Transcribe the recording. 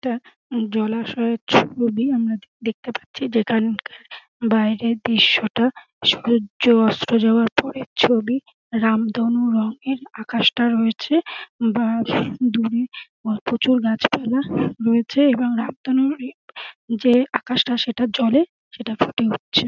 এটা উম জলাশয়ের ছবি আমরা দেখতে পাচ্ছি যেখানকার বাইরের দৃশ্যটা সূর্য অস্ত যাওয়ার পরের ছবি রামধনু রঙের আকাশটা রয়েছে উম বা দূরে প্রচুর গাছপালা রয়েছে এবং রামধনুর যে আকাশটা সেটা জলে সেটা ফুটে উঠছে।